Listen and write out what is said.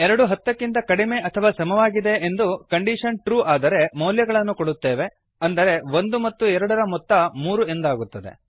ಎರಡು ಹತ್ತಕ್ಕಿಂತ ಕಡಿಮೆ ಅಥವಾ ಸಮವಾಗಿದೆ ಎಂಬ ಕಂಡೀಶನ್ ಟ್ರು ಆದರೆ ಮೌಲ್ಯಗಳನ್ನು ಕೋಡುತ್ತೇವೆ ಅಂದರೆ ಒಂದು ಮತ್ತು ಎರಡರ ಮೊತ್ತ ಮೂರು ಎಂದಾಗುತ್ತದೆ